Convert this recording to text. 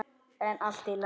En allt í lagi.